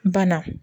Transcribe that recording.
Bana